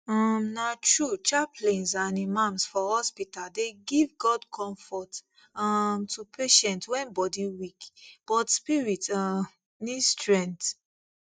um na true chaplains and imams for hospital dey give god comfort um to patients when body weak but spirit um need strength